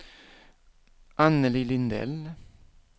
Annelie Lindell